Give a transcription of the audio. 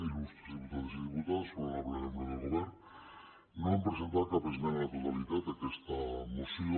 il·lustres diputades i diputats honorables membres del govern no hem presentat cap esmena a la totalitat a aquesta moció